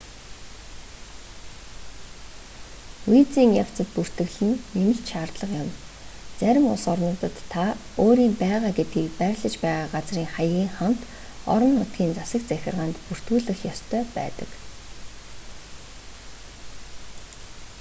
визийн явцад бүртгэл нь нэмэлт шаардлага юм зарим улс орнуудад та өөрийн байгаа гэдгийг байрлаж байгаа газрын хаягийн хамт орон нутгийн засаг захиргаанд бүртгүүлэх ёстой байдаг